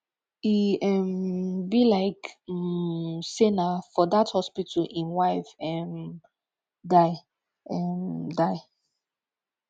e um be like um say na for dat hospital im wife um die um die